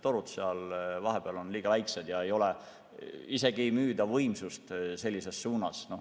Torud seal vahepeal on liiga väiksed ja isegi ei müüda võimsust sellises suunas.